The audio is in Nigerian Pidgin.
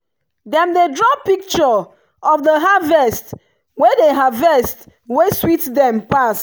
dem dey draw picture of the harvest wey the harvest wey sweet dem pass.